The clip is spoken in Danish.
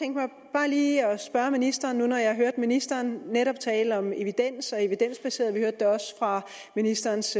bare lige at spørge ministeren nu hvor jeg hørte ministeren netop tale om evidens og evidensbaseret og vi hørte også ministerens